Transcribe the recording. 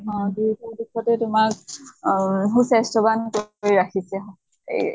অ যি কোনো দিশতে তোমাৰ অহ সুস্বাস্থ্য়ৱান কৰি ৰাখিছে এই